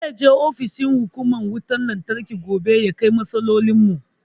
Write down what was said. Zai je ofishin hukumar wutan lantarki gobe ya kai matsalolin mu